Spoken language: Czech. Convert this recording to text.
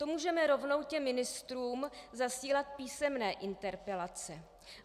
To můžeme rovnou těm ministrům zasílat písemné interpelace.